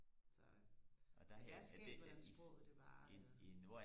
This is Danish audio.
så øh men det er skægt hvordan sproget det bare